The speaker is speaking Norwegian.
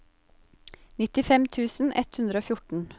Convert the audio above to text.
nittifem tusen ett hundre og fjorten